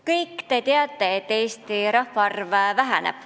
Kõik te teate, et Eesti rahvaarv väheneb.